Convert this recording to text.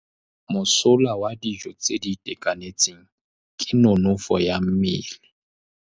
Mosola wa dijô tse di itekanetseng ke nonôfô ya mmele.